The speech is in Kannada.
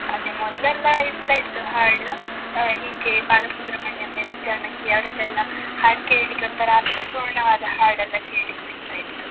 ಅದೇ ಮೊದ್ಲೆಲ್ಲಾ ಇರ್ತಾ ಇತ್ತು ಹಾಡು, ಆ ಹೀಗೆ ಬಾಲಸುಬ್ರಮಣ್ಯಂ, ಎಸ್. ಜಾನಕಿ ಅವ್ರದೆಲ್ಲ ಹಾಡ್ ಕೇಳಿಕ್ಕೆ ಒಂತರಾ ಅರ್ಥಪೂರ್ಣವಾದ ಹಾಡ್ ಎಲ್ಲಾ ಕೇಳಿಕ್ ಸಿಗ್ತಾ ಇತ್ತು.